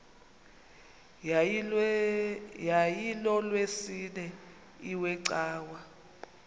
yayilolwesine iwe cawa